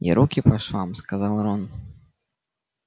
и руки по швам сказал рон